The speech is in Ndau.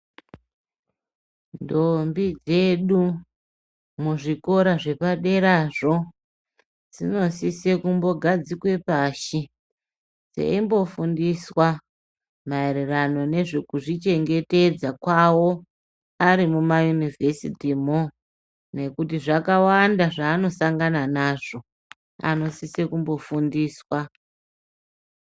Ndombi dzedu muzvikora zvepaderazvo, dzinosise kumbogadzikwe pashi, dzeimbofundiswa maererano nezvekuzvichengetedza kwawo ari mumayunivhesitimo, nekuti zvakawanda zvaanosangana nazvo, anosise kumbofundiswa.